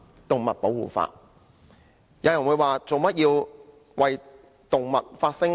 有人會問為何要為動物發聲？